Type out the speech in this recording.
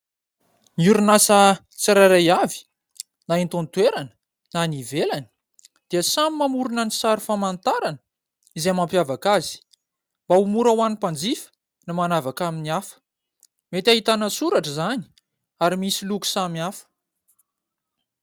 Ny orinasa tsirairay avy, na eto an-toerana, na any ivelany dia samy mamorona ny sary famantarana, izay mampiavaka azy. Mba ho mora ho an'ny mpanjifa ny manavaka amin'ny hafa. Mety ahitana soratra izany, ary misy loko samihafa.